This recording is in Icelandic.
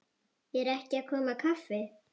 Er ekki að koma kaffi?